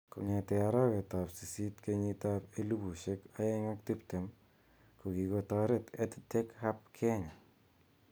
Kong'ete arawet ab sisit kenyit ab 2020, kokikotaret EdTech Hub Kenya